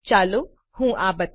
ચાલો હું આ બતાવું